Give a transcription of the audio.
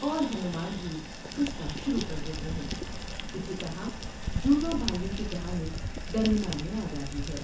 اور ہنومان بھی قصہ شروع کر دیتے ہیں ۔اسی طرح جڑواں بھائیوں کی کہانی درمیان میں آ جاتی ہے ۔